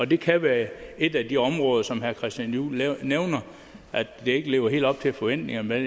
det kan være et af de områder som herre christian juhl nævner ikke lever helt op til forventningerne